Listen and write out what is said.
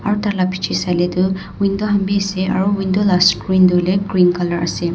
aru tai la piche sai le toh window khan bi ase aru window la screen toh hoile green colour ase.